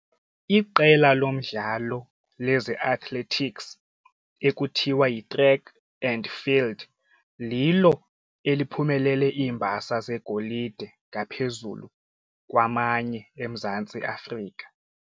Iqela lomdlalo leze-athletics ekuthiwa yiTrack and Field lilo eliphumelele iimbasa zeegolide ngaphezulu kwamanye eMzantsi Afrika.